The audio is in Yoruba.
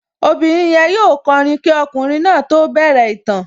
Obìnrin yẹn yóò kọrin kí ọkùnrin náà tó bẹ̀rẹ̀ ìtàn